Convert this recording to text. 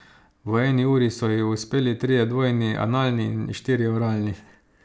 V eni uri so ji uspeli trije dvojni analni in štirje oralni.